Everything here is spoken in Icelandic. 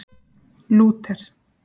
Lúter